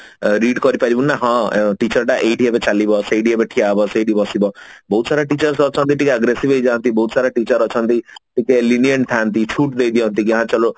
read କରି ପାରିବୁନି ନା ହଁ teacher ଟା ଏଇଠି ଏବେ ଚାଲିବ ସେଇଠି ଏବେ ଠିଆ ହେବ ସେଇଠି ବସିବ ବହୁତ ସାରା teachers ଅଛନ୍ତି ଟିକେ aggressive ହେଇ ଯାନ୍ତି ବହୁତ ସାରା teachers ଅଛନ୍ତି ଟିକେ lenient ଥାନ୍ତି ଛୁଟ ଦେଇ ଦିଅନ୍ତି ହଁ ଚଲୋ